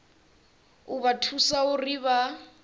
u vha thusa uri vha